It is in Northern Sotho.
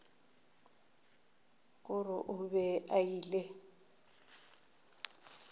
gore o be a ile